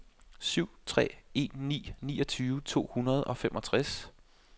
syv tre en ni niogtyve to hundrede og femogtres